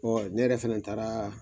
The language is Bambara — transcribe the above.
ne yɛrɛ fana taara